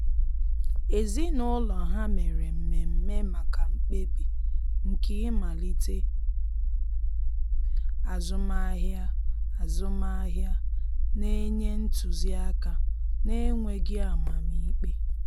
Ezinụlọ ha mere mmeme maka mkpebi nke ịmalite azụmahịa, azụmahịa, na-enye ntụzi aka na-enweghi amam ikpe.